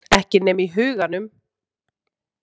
Ekki nema í huganum.